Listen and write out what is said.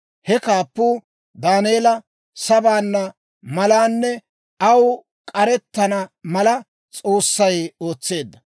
He kaappuu Daaneela sabbana malanne aw k'arettana mala, S'oossay ootseedda.